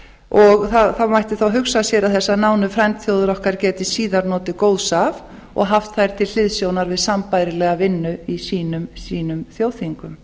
og það mætti þá hugsa sér að þessar nánu frændþjóðir gætu síðar notið góðs af og haft þær til hliðsjónar við sambærilega vinnu í sínum þjóðþingum